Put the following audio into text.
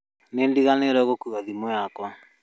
Nĩ ndiganĩirwo gũkua thimũ yakwa